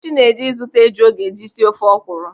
Nkechi na-eje ịzụta eju ọ ga-eji sie ofe ọkwụrụ.